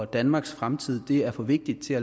danmarks fremtid er for vigtig til